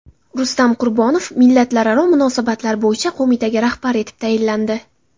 Rustam Qurbonov millatlararo munosabatlar bo‘yicha qo‘mitaga rahbar etib tayinlandi.